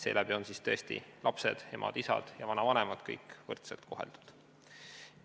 Seeläbi on tõesti lapsed, emad, isad ja vanavanemad kõik võrdselt koheldud.